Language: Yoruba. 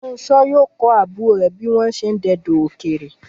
Fúnṣo yóò kọ́ àbúrò rẹ̀ bí wọ́n ṣe ń dọdẹ ọ̀kẹ́rẹ́